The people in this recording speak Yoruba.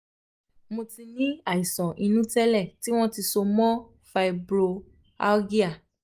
mo ti ní àìsàn inú tẹ́lẹ̀ tí wọ́n ti so mọ́ fibromyalgia